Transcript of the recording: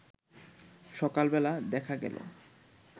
সকালবেলা দেখা গেল